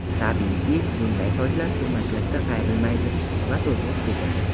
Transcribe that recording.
Tabiiyki, bunday sochlar turmaklashda qayrilmaydi va to‘zg‘ib ketadi.